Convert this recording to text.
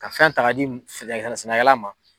Ka fɛn ta k'a di sɛnɛkɛ sɛnɛkɛla ma.